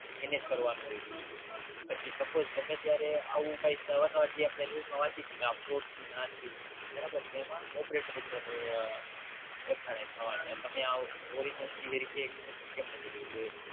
એનેજ કરવાનું હોય છે પછી Suppose ગમે ત્યારે આવું અવાર નવાર જે News માં આપડે વચયી છી કે આ Fraud થયું ને આ થયું બરાબર તો એમાં Operator ઉપર એફ આર આઈ થાય કે તમે આવું Original cavery કેમ નથી કયૃ